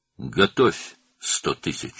100.000 hazırla.